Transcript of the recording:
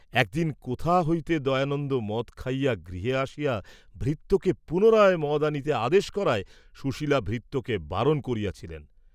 একদিন কোথা হইতে দয়ানন্দ মদ খাইয়া গৃহে আসিয়া ভৃত্যকে পুনরায় মদ আনিতে আদেশ করায়, সুশীলা ভৃত্যকে বারণ করিয়াছিলেন।